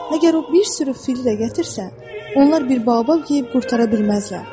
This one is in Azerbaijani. Məgər o bir sürü fil də gətirsə, onlar bir Baobab yeyib qurtara bilməzlər.